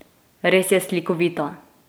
Res je slikovita!